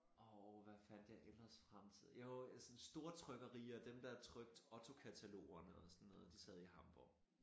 Og hvad fandt jeg ellers frem til jo øh sådan stortrykkerierne dem der trykte OTTO katalogerne og sådan noget de sad i Hamborg